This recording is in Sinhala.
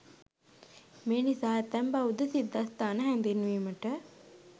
මේ නිසා ඇතැම් බෞද්ධ සිද්ධස්ථාන හැඳින්වීමට